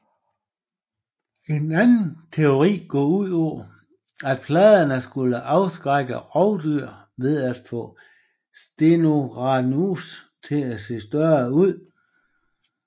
En anden teori går ud på at pladerne skulle afskrække rovdyr ved at få Stegosaurus til at se større ud